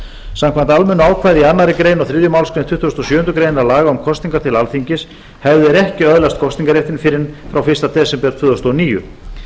samkvæmt almennu ákvæði í annarri grein og þriðju málsgrein tuttugustu og sjöundu grein laga um kosningar til alþingis hefðu þeir ekki öðlast kosningarréttinn fyrr en frá fyrsta desember tvö þúsund og níu